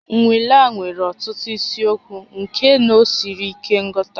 Nnwale a nwere ọtụtụ isiokwu nke na ọ siri ike nghọta